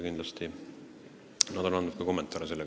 Kindlasti nad on seda ka kommenteerinud.